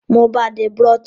Mo bàa de brooch